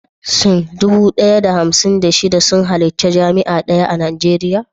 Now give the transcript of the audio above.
Shin dubu ɗaya da hamsin da biyar, da shida sun halarci jami'a daya a Najeriya?